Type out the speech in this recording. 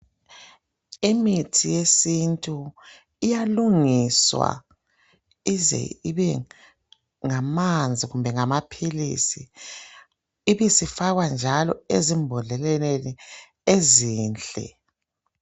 Imithi yesintu, iyalungiswa ize ibengamanzi kumbe ngamaphilisi. Ibisifakwa njalo, ezimbodleleni ezinhle.